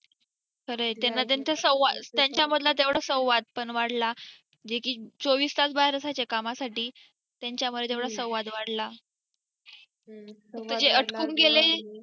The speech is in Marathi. खरय त्यांना त्यांच्या संवाद त्यांच्यामधला तेवढा संवाद पण वाढला जे की चोवीस तास बाहेर असायचे कामासाठी त्यांच्यामुळे तेवढा संवाद वाढला म्हणजे अटकून गेले